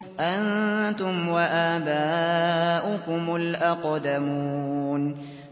أَنتُمْ وَآبَاؤُكُمُ الْأَقْدَمُونَ